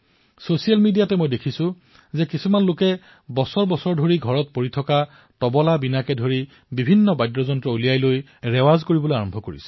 social মিডিয়াত মই দেখা পাইছো যে কিছুমান লোকে ঘৰত বছৰজুৰি পৰি থকা তবলা বীণাৰ দৰে বাদ্যযন্ত্ৰসমূহ উলিয়াই অভ্যাস কৰা আৰম্ভ কৰিছে